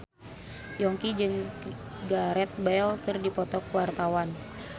Yongki jeung Gareth Bale keur dipoto ku wartawan